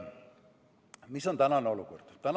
Milline on tänane olukord?